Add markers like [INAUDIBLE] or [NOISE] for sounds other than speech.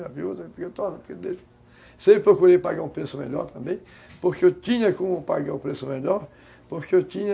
[UNINTELLIGIBLE] Eu sempre procurei pagar um preço melhor também, porque eu tinha como pagar o preço melhor, porque eu tinha